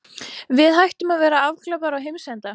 Við hættum að vera afglapar á heimsenda.